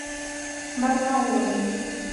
барнаулом